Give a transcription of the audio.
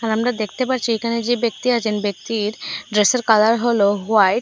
আর আমরা দেখতে পারচি এখানে যে ব্যক্তি আছেন ব্যক্তির ড্রেসের কালার হল হোয়াইট ।